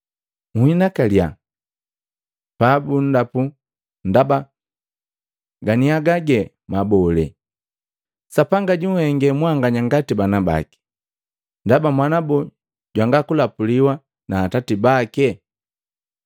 Nhinakalya pabundapu ndaba ganiaga ge mabole; Sapanga junhenge mwanganya ngati bana baki. Ndaba mwana boo jwanga kulapuliwa na atati bake?